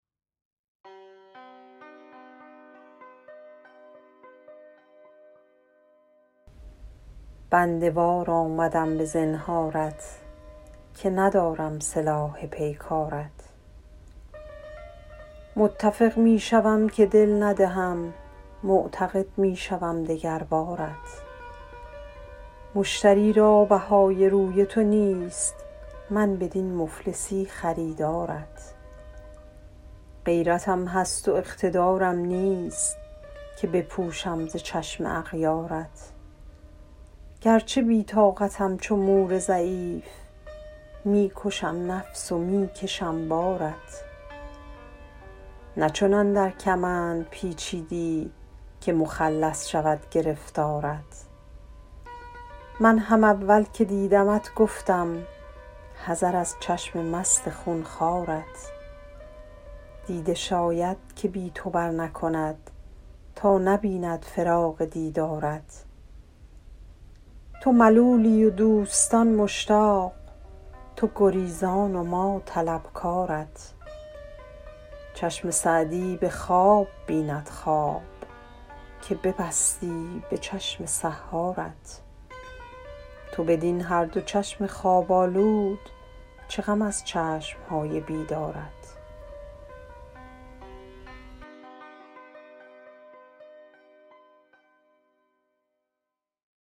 بنده وار آمدم به زنهارت که ندارم سلاح پیکارت متفق می شوم که دل ندهم معتقد می شوم دگر بارت مشتری را بهای روی تو نیست من بدین مفلسی خریدارت غیرتم هست و اقتدارم نیست که بپوشم ز چشم اغیارت گرچه بی طاقتم چو مور ضعیف می کشم نفس و می کشم بارت نه چنان در کمند پیچیدی که مخلص شود گرفتارت من هم اول که دیدمت گفتم حذر از چشم مست خون خوارت دیده شاید که بی تو برنکند تا نبیند فراق دیدارت تو ملولی و دوستان مشتاق تو گریزان و ما طلبکارت چشم سعدی به خواب بیند خواب که ببستی به چشم سحارت تو بدین هر دو چشم خواب آلود چه غم از چشم های بیدارت